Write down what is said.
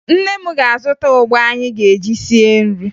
Nne m ga-azụta ụgba anyị ga-eji sie nri